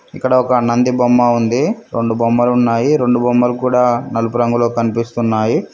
ఇక్కడ ఒక నంది బొమ్మ ఉంది రెండు బొమ్మలు ఉన్నాయి రెండు బొమ్మలు కూడా నలుపు రంగులో కనిపిస్తున్నాయి.